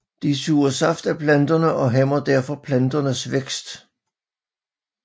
De suger saft af planterne og hæmmer derfor planternes vækst